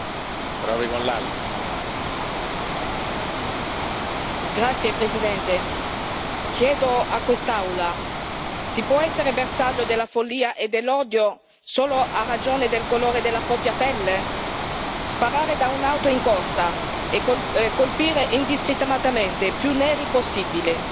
Signor Presidente, onorevoli colleghi, chiedo a quest'Aula si può essere bersaglio della follia e dell'odio solo a ragione del colore della propria pelle? Sparare da un'auto in corsa e colpire indiscriminatamente più neri possibile.